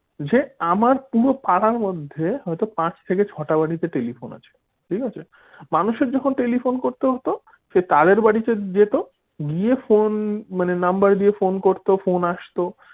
যে আমার পুরো পাড়ার মধ্যে হয়তো পাচ থেকে ছটা বাড়িতে টেলিফোন আছে ঠিক আছে মানুষের যখন টেলিফোন করতে হতো সে তাদের বাড়িতে জেত গিয়ে ফোন মানে number দিয়ে ফোন করতে ফোন আসতো।